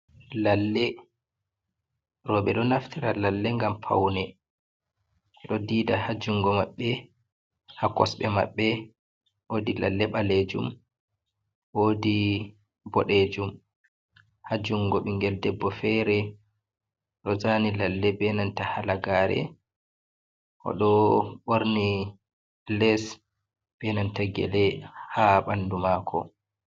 Lalle, rowbe ɗo naftira Lalle ngam pawne, ɓe ɗo diida ha junngo maɓɓe, ha kosɗe maɓɓe. Wodi Lalle ɓaleejum, woodi boɗeejum ha junngo ɓinngel debbo feere, ɗo zaani Lalle beenanta Halagaare, o ɗo ɓorni lees beenanta gele haa ɓanndu maako.